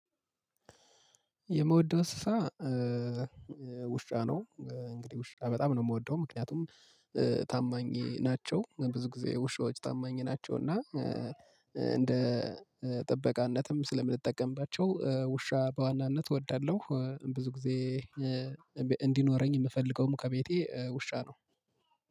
የምወደው እንሰሳ ውሻ ነው። እንግዲህ ውሻ በጣም ነው የምወደው ምክንያቱም ታማኝ ናቸው ብዙ ጊዜ ውሻዎች ታማኝ ናቸው። እና እንደ ጥበቃነትም ስለምንጠቀምባቸው ውሻ በዋናነት እወዳለሁ። ብዙ ጊዜ እንዲኖረኝ የምፈልገውም ከቤቴ ውሻ ነው።